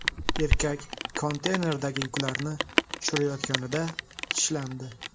Erkak konteynerdagi yuklarni tushirayotganida tishlandi.